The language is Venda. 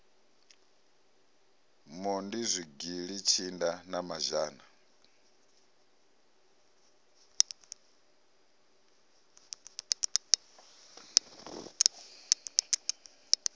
mondi zwigili tshinda na mazhana